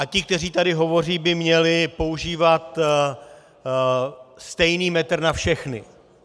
A ti, kteří tady hovoří, by měli používat stejný metr na všechny.